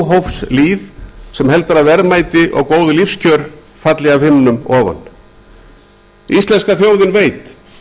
af óhófslýð sem heldur að verðmæti og góð lífskjör falli af himnum ofan íslenska þjóðin veit